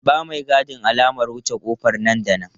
Ba maigadin alamar wuce ƙofar nan da nan!